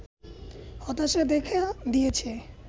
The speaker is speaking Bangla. হতাশা দেখা দিয়েছে